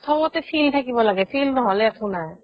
চবতে field থাকিব লাগে field নহ'লে একো নাই